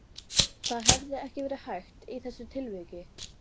Það hefði ekki verið hægt í þessu tilviki?